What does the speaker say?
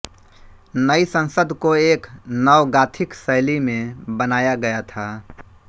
नई संसद को एक नव गॉथिक शैली में बनाया गया था